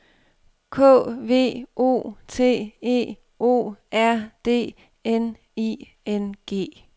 K V O T E O R D N I N G